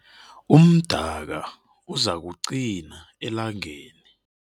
Umdaka uzakuqina elangeni.